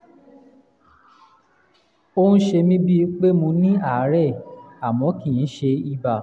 ó ń ṣe mí bíi pé mo ní àárẹ̀ àmọ́ kì í ṣe ibà